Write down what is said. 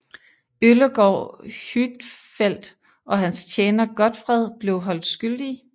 Øllegaard Huitfeldt og hans tjener Godtfred blev holdt skyldige